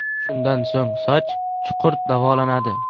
Shundan so‘ng soch chuqur davolanadi.